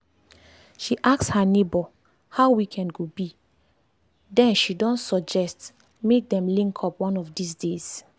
she ask her neighbor how weekend go be then she don suggest make dem link up one of these days.